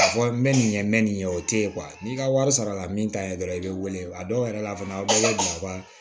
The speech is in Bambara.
Ka fɔ n bɛ nin kɛ n mɛ nin ɲɛ o tɛ ye n'i ka wari sarala min ta ye dɔrɔn i bɛ wele a dɔw yɛrɛ la fana aw bɛ ka